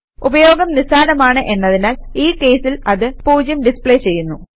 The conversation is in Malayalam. ഉപയോഗം നിസ്സാരമാണ് എന്നതിനാൽ ഈ കേസിൽ അത് 0 ഡിസ്പ്ലേ ചെയ്യുന്നു